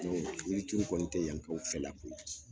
O yiri turu kɔni te yan kaou fɛ la ko ye